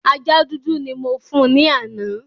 Ajá dúdú ni mo fún ní àná